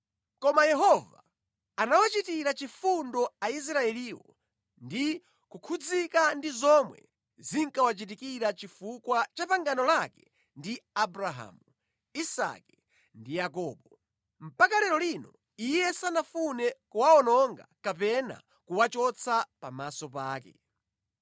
Koma Yehova anawachitira chifundo Aisraeliwo ndi kukhudzika ndi zomwe zinkawachitikira chifukwa cha pangano lake ndi Abrahamu, Isake ndi Yakobo. Mpaka lero lino Iye sanafune kuwawononga kapena kuwachotsa pamaso pake.